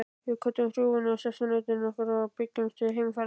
Við kvöddum hrjúfa sessunautinn okkar og bjuggumst til heimferðar.